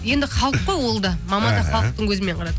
енді халық қой ол да мама да халықтың көзімен қарады